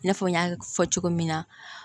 I n'a fɔ n y'a fɔ cogo min na